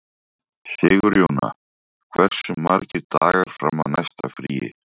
Sigurjóna, hversu margir dagar fram að næsta fríi?